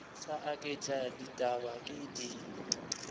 sa aketše ditaba ke di